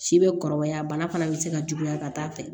Si bɛ kɔrɔbaya bana fana bɛ se ka juguya ka taa fɛ